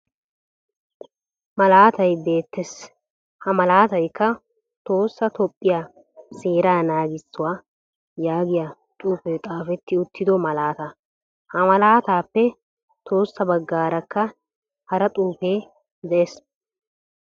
Malaatay beettes. Ha malaatayikka "tohossa toophphiya seeraa naagissiwa" yaagiya xuufee xaafeetti uttido malaataa. Ha malaataappe tohossa baggaarakka hara xuufee de'es.